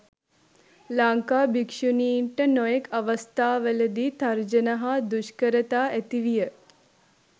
ලංකා භික්ෂුණින්ට නොයෙක් අවස්ථාවලදී තර්ජන හා දුෂ්කරතා ඇතිවිය.